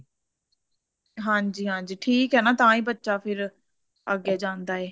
ਹਾਂਜੀ ਹਾਂਜੀ ਠੀਕ ਐ ਨਾ ਤਾਂਹੀ ਬੱਚਾ ਫਿਰ ਅੱਗੇ ਜਾਂਦਾ ਏ